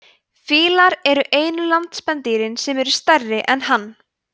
fílar eru einu landspendýrin sem eru stærri en hann